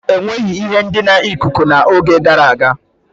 Enweghi ihe ndina ikuku n'oge gara aga.